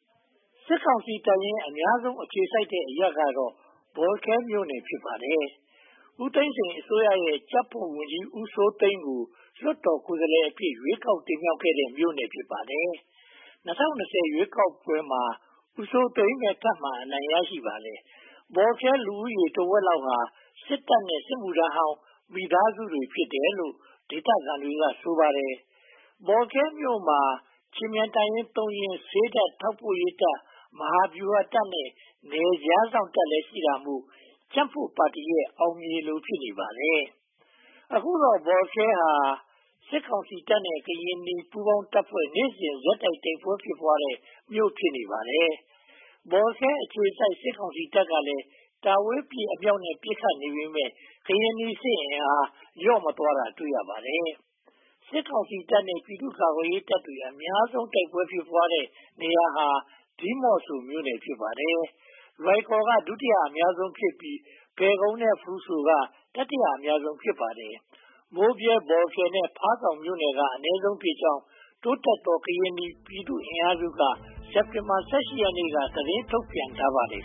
။ စစ်ကောင်စီတပ်ရင်း အများဆုံးအခြေစိုက်တဲ့ အရပ်ကတော့ ဘောလခဲမြို့နယ် ဖြစ်ပါတယ်။ ဦးသိန်းစိန်အစိုးရရဲ့ ကြံ့ဖွံ့ဝန်ကြီး ဦးစိုးသိန်းကို လွှတ်တော်ကိုယ်စားလှယ်အဖြစ် ရွေးကောက်တင်မြှောက်တဲ့ မြို့နယ် ဖြစ်ပါတယ်။ ၂၀၂၀ ရွေးကောက်ပွဲမှာလည်း ဦးစိုးသိန်းပဲ ထပ်မံအနိုင်ရရှိခဲ့ပါတယ်။ ဘောလခဲလူဦးရေတဝက်လောက်ဟာ စစ်တပ်နဲ့ စစ်မှုထမ်းဟောင်း မိသားစုတွေ ဖြစ်တယ်လို့ ဒေသခံတွေက ဆိုပါတယ်။ ဘော်လခဲမြို့မှာ ခြေမြန်တပ်ရင်း (၃) ရင်း၊ ဆေးတပ်၊ ထောက်ပို့ရေးတပ်၊ မဟာဗျူဟာတပ်နဲ့ နယ်ခြားစောင့်တပ်တွေလည်း ရှိတာမို့ ကြံ့ဖွံ့ပါတီရဲ့ အောင်မြေလို ဖြစ်နေပါတယ်။ အခုတော့ ဘောလခဲဟာ စစ်ကောင်စီတပ်နဲ့ ကရင်နီ ပူးပေါင်းတပ်ဖွဲ့ နေ့စဉ်ရက်ဆက် တိုက်ပွဲဖြစ်ပွားနေတဲ့ မြို့နယ် ဖြစ်နေပါတယ်။ ဘောလခဲအခြေစိုက် စစ်ကောင်စီတပ်တွေကလည်း တာဝေးပစ်အမြောက်နဲ့ ပစ်ခတ်နေပေမယ့် ကရင်နီစစ်အင်အား လျော့မသွားတာ တွေ့ရပါတယ်။ စစ်ကောင်စီတပ်နဲ့ ပြည်သူ့ကာကွယ်ရေးတပ်တွေ အများဆုံးတိုက်ပွဲ ဖြစ်နေတဲ့နေရာဟာ ဒီမော့ဆိုမြို့နယ် ဖြစ်ပါတယ်။ လွိုင်ကော်က ဒုတိယအများဆုံးဖြစ်ပြီး၊ ဖယ်ခုံနဲ့ ဖရူးဆိုးတို့က တတိယအများဆုံး ဖြစ်ပါတယ် မိုးဗြဲ၊ ဘောလခဲနဲ့ ဖားဆောင်းမြို့နယ်တွေကတော့ အနည်းဆုံးဖြစ်ကြောင်း တိုးတက်သောကရင်နီပြည်သူ့စစ်အင်အားက စက်တင်ဘာလ (၁၈) ရက်နေ့က သတင်းထုတ်ပြန်ထားပါတယ်